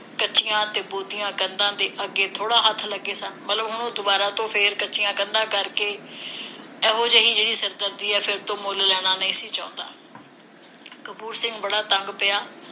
ਕੱਚੀਆਂ ਤੇ ਬੋਦੀਆਂ ਕੰਧਾਂ ਦੇ ਅੱਗੇ ਥੋੜ੍ਹੇ ਹੱਥ ਲੱਗੇ ਸਨ? ਮਤਲਬ ਹੁਣ ਉਹ ਦੁਬਾਰਾ ਤੋਂ ਫੇਰ ਕੱਚੀਆਂ ਕੰਧ ਕਰਕੇ ਇਹੋ ਜਿਹੀ ਸਿਰਦਰਦੀ ਹੈ ਫੇਰ ਤੋਂ ਮੁੱਲ ਲੈਣਾ ਨਹੀਂ ਸੀ ਚਾਹੁੰਦਾ ਕਪੂਰ ਸਿੰਘ ਬੜਾ ਤੰਗ ਪਿਆ